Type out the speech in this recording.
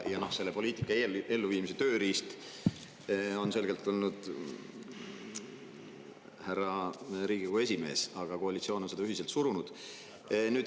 Ja selle poliitika elluviimise tööriist on selgelt olnud härra Riigikogu esimees, aga koalitsioon on seda ühiselt surunud.